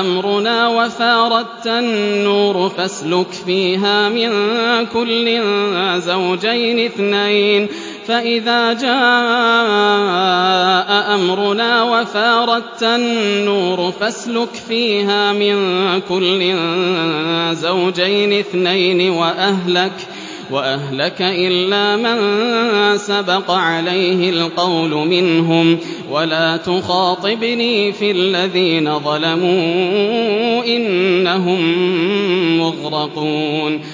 أَمْرُنَا وَفَارَ التَّنُّورُ ۙ فَاسْلُكْ فِيهَا مِن كُلٍّ زَوْجَيْنِ اثْنَيْنِ وَأَهْلَكَ إِلَّا مَن سَبَقَ عَلَيْهِ الْقَوْلُ مِنْهُمْ ۖ وَلَا تُخَاطِبْنِي فِي الَّذِينَ ظَلَمُوا ۖ إِنَّهُم مُّغْرَقُونَ